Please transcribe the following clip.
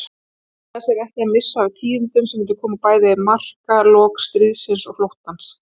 Ætlaði sér ekki að missa af tíðindunum sem myndu bæði marka lok stríðsins og flóttans.